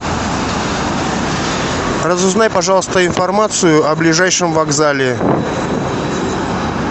разузнай пожалуйста информацию о ближайшем вокзале